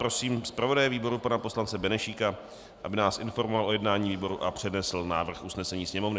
Prosím zpravodaje výboru pana poslance Benešíka, aby nás informoval o jednání výboru a přednesl návrh usnesení Sněmovny.